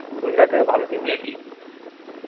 গুজরাটেরও ভালো team আছে